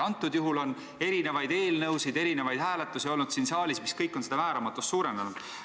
Selle reformi kohta on olnud erinevaid eelnõusid ja erinevaid hääletusi siin saalis ning see on seda määramatust suurendanud.